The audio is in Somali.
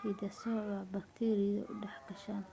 hiddasadooha bakteeriyo u dhex geshaan